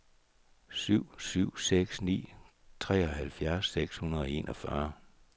syv syv seks ni treoghalvfjerds seks hundrede og enogfyrre